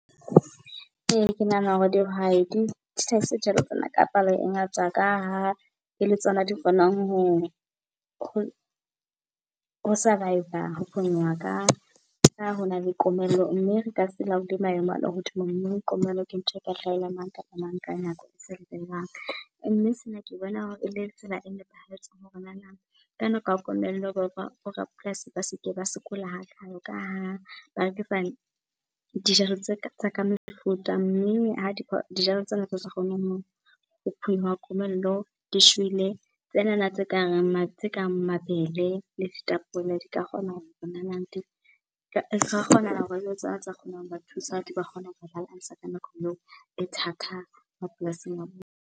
Ke nahana hore dihwai di hlahise dijalo tsena ka palo e ngata ka ha e le tsona di kgonang ho survive, ho phonyoha. Ka ha hona le komello mme re ka se laole maemo a lehodimo mme komello ke ntho eka hlaela mang kapa mang ka nako . Mme sena ke bona hore e le tsela e nepahetseng hore nana ka nako ya komello bo rapolasi ba seke ba sokola hakalo ka ha dijalo tse ka, tsa ka mefuta. Mme ha dijalo tsena tse sa kgoneng ho phonyoha komello di shwele, tsenana tse kareng mabele le ditapole di ka kgona hore nanang, ka kgonahala tsa kgona hore thusa, di ka kgona hore balance- a ka nako eo e thata mapolasing a .